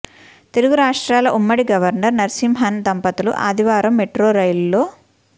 తెలుగు రాష్ట్రాల ఉమ్మడి గవర్నర్ నరసింహన్ దంపతులు ఆదివారం మెట్రో రైలులో